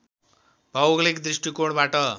भौगोलिक दृष्टिकोबाट